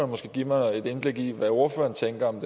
måske give mig et indblik i hvad ordføreren tænker om